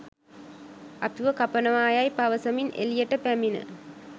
අපිව කපනවා යැයි පවසමින් එළියට පැමිණ